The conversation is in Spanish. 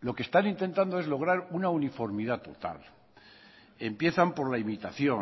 lo que están intentando es lograr una uniformidad total empiezan por la imitación